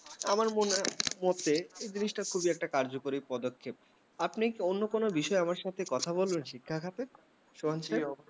আমার মনের মতে এই জিনিসটা খুবই একটা কার্যকারী পদক্ষেপ আপনি অন্য কিছু বিষয়ে আমার সাথে কথা বলবেন শিক্ষা ক্ষেত্রে স্বয়ংক্ষেপ?